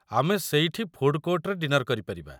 ଆମେ ସେଇଠି ଫୁଡ଼ କୋର୍ଟରେ ଡିନର କରିପାରିବା।